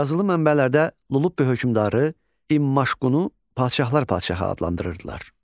Yazılı mənbələrdə Lullubi hökmdarı İmmaşqunu padşahlar padşahı adlandırırdılar.